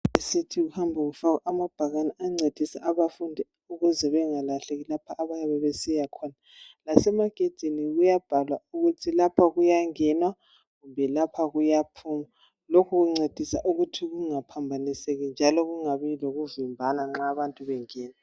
Euniversity kuhamba kufakwa amabhakani ancedisa abafundi ukuze bangalahleki lapho abayabe besiyakhona. Lasemagedini kuyabhalwa ukuthi lapha kuyangenwa kumbe lapha kuyaphunywa. Lokhu kuncedisa ukuthi kungaphambaniseki, njalo kungabi lokuvimbana, nxa abantu bengena.